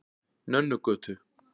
Nönnugötu